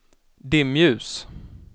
dimljus